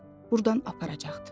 Burdan aparacaqdı.